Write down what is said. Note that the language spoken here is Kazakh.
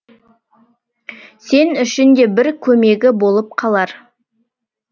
сен үшін де бір көмегі болып қалар